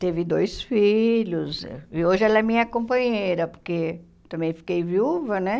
Teve dois filhos, e hoje ela é minha companheira, porque também fiquei viúva, né?